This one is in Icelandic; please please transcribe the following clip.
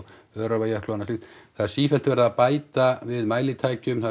Öræfajökli og annað slíkt það er sífellt verið að bæta við mælitækjum